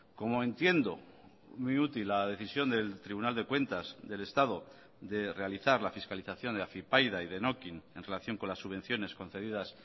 como entiendo muy útil la decisión del tribunal de cuentas del estado de realizar la fiscalización de afypaida y denokinn en relación con las subvenciones concedidas